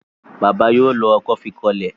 bàbá yóò ló ọkọ́ fí kò ilé.